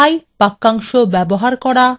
order by বাক্যাংশ ব্যবহার করা